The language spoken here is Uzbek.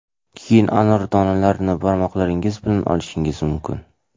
Keyin anor donalarini barmoqlaringiz bilan olishingiz mumkin.